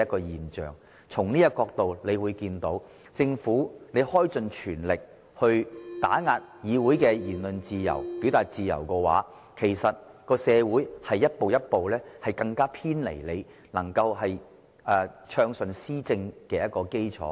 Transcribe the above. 由此可見，當政府全力打壓議會的言論自由和表達自由時，社會正逐步偏離政府暢順施政的基礎。